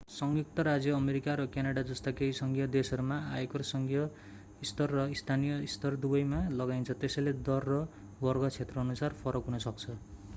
संयुक्त राज्य अमेरिका र क्यानाडा जस्ता केही सङ्घीय देशहरूमा आयकर सङ्घीय स्तर र स्थानीय स्तर दुवैमा लगाइन्छ त्यसैले दर र वर्ग क्षेत्रअनुसार फरक हुन सक्छ